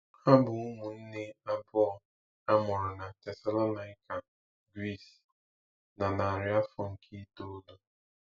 Ha bụ ụmụnne abụọ a mụrụ na Tesalonaịka, Gris, na narị afọ nke itoolu.